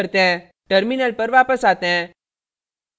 terminal पर वापस आते हैं